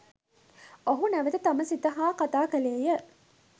ඔහු නැවත තම සිත හා කතා කළේය